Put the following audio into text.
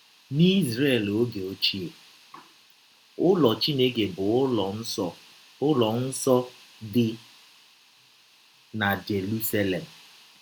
N’Izrel ọge ọchie, ụlọ Chineke bụ ụlọ nsọ ụlọ nsọ dị na Jerụselem.